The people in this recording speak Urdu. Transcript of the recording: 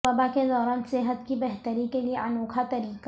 وبا کے دوران صحت کی بہتری کے لیے انوکھا طریقہ